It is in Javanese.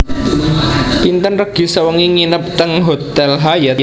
Pinten regi sewengi nginep teng hotel Hyatt?